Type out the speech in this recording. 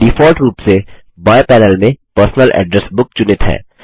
default रूप से बाएँ पैनल में पर्सनल एड्रेस बुक चुनित है